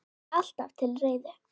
Alltaf til reiðu!